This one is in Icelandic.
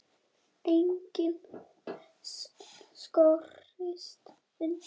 Enginn skorist undan.